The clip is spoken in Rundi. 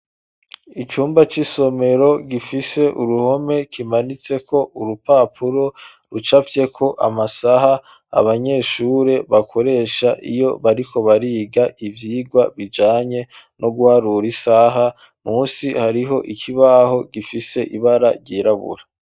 Icumba c'isomero gifise uruhome kimanitse ko urupapuro rucafyeko amasaha abanyeshure bakoresha iyo bariko bariga ivyigwa bijanye no guharura isaha musi hariho ikibaho gifise ibara ryirabura.